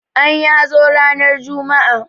Anyi hazo ranar juma'a.